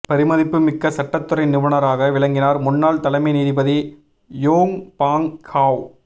பெருமதிப்புமிக்க சட்டத்துறை நிபுணராக விளங்கினார் முன்னாள் தலைமை நீதிபதி யோங் பாங் ஹாவ்